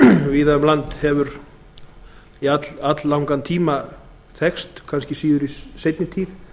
víða um land hefur í alllangan tíma þekkst kannski síður í seinni tíð